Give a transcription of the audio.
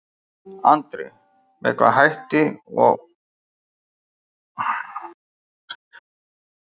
Andri: Með sama hætti og var gert í fyrra skiptið?